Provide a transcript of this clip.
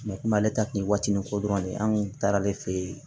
kuma ale ta kun ye watinin ko dɔrɔn de ye an kun taara ale fɛ yen